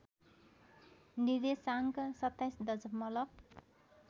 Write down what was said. निर्देशाङ्क २७ दशमलब